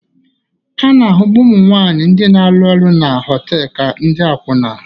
A na-ahụbu ụmụ nwanyị ndị na-arụ ọrụ na họtelu ka ndị akwụna